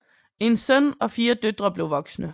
En søn og fire døtre blev voksne